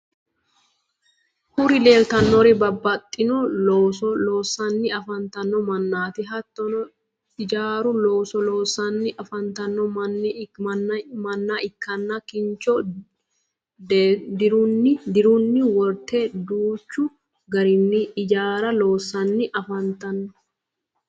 kuri leelitannori babbaxino looso loosanni afantanno mannati. hattonni ijaaru looso loosanni afantanno mann ikkanna kincho deerunni worte danchu garinni ijaara loosanni afantanno.